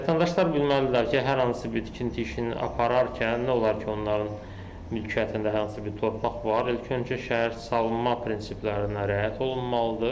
Vətəndaşlar bilməlidirlər ki, hər hansı bir tikinti işini apararkən nə olar ki, onların mülkiyyətində hər hansı bir torpaq var, ilk öncə şəhər salma prinsiplərinə riayət olunmalıdır.